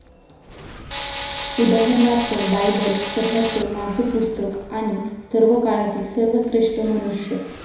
उदाहरणार्थ, बायबल कथांचं माझं पुस्तक आणि सर्वकाळातील सर्वश्रेष्ठ मनुष्य.